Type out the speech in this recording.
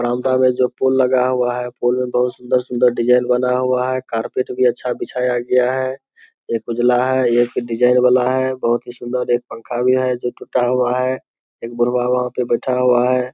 बरामदा में जो पोल लगा हुआ है पोल में बहुत सुन्‍दर-सुन्‍दर डिजाईन बना हुआ है कारपेट भी अच्‍छा बिछाया गया है एक उजला है एक डिजाईन वाला हैै बहुत ही सुन्‍दर एक पंखा भी है जो टूटा हुआ है एक बुढ़वा वहाँ पे बैठा हुआ है |